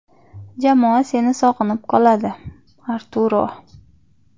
Jamoa seni sog‘inib qoladi, Arturo.